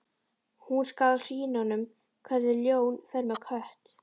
Hún skal sýna honum hvernig ljón fer með kött.